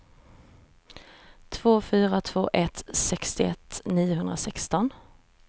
två fyra två ett sextioett niohundrasexton